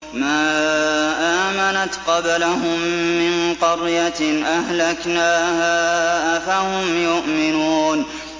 مَا آمَنَتْ قَبْلَهُم مِّن قَرْيَةٍ أَهْلَكْنَاهَا ۖ أَفَهُمْ يُؤْمِنُونَ